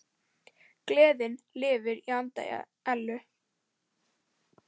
Gleðin lifir í anda Ellu.